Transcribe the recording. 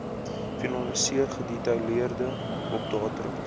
finaliseer gedetailleerde opdaterings